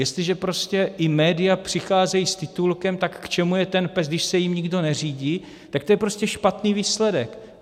Jestliže prostě i média přicházejí s titulkem tak k čemu je ten PES, když se jím nikdo neřídí?, tak to je prostě špatný výsledek.